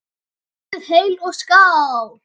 Lifið heil og skál!